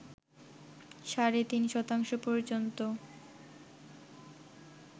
সাড়ে তিন শতাংশ পর্যন্ত